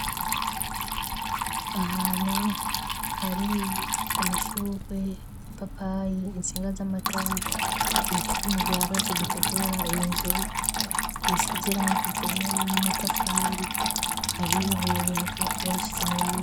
Ahanu hari amashukwe ipapayi intsinga z'amatara y'icuma gihagaze gitukura inzu isizirango igera n'amatafari hari oibibuye bashize mubaraa.